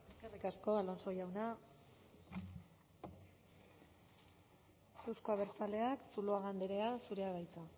eskerrik asko alonso jauna euzko abertzaleak zuluaga andrea zurea da hitza